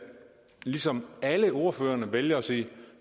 ligesom alle ordførerne vælger at sige